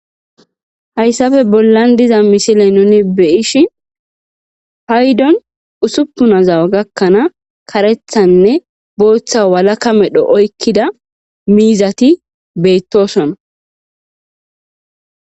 Hayssafe bollan diza misile nuni beyishi haydon usuppunazawa gakkanaa karethanne booththa walakamedho oykkida miizati beyttosona.